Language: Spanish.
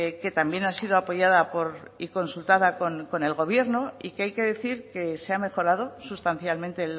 que también ha sido apoyada y consultada con el gobierno y que hay que decir que se ha mejorado sustancialmente